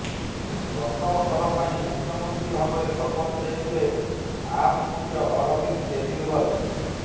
ପ୍ରଥମ ଥର ପାଇଁ ମୁଖ୍ୟମନ୍ତ୍ରୀ ଭାବରେ ଶପଥ ନେଇଥିଲେ ଆପ୍ ମୁଖ୍ୟ ଅରବିନ୍ଦ କେଜରିୱାଲ